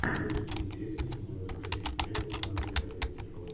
запусти интересную кинематографическую ленту в жанре реалити шоу